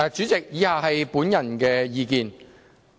主席，以下是我的個人意見。